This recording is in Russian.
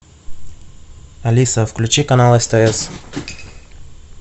алиса включи канал стс